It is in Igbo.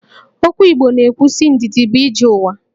Okwu Igbo na-ekwu sị 'Ndidi bụ ije ụwa'